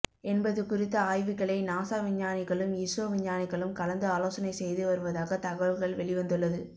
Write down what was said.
என்பது குறித்த ஆய்வுகளை நாசா விஞ்ஞானிகளும் இஸ்ரோ விஞ்ஞானிகளும் கலந்து ஆலோசனை செய்து வருவதாக தகவல்கள் வெளிவந்துள்ளது